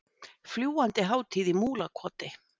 Fljúgandi hátíð í Múlakoti